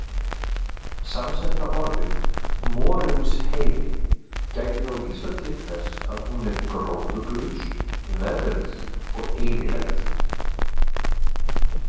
Samsetta orðið Morinsheiði gæti þá vísað til þess að hún er gróðurlaus, veðruð og eyðileg.